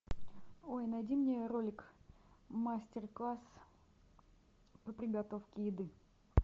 ой найди мне ролик мастер класс по приготовке еды